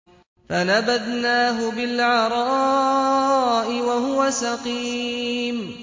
۞ فَنَبَذْنَاهُ بِالْعَرَاءِ وَهُوَ سَقِيمٌ